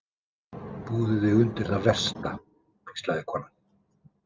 Búðu þig undir það versta, hvíslaði konan.